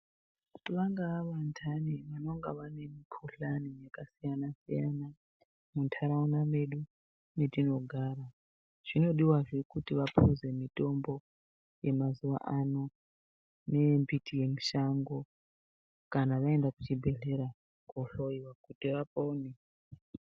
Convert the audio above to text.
Kuti vangaa vantani vanenge vane mukhuhlani yakasiyana siyana muntaraunda mwedu mwetinogara zvinodiwazve kuti vapuze mitombo yemazuwa ano yembiti yemishango kana vaenda kuchibhedhlera kohloiwa kuti vapone.